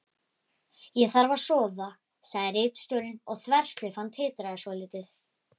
Ég þarf að sofa, sagði ritstjórinn og þverslaufan titraði svolítið.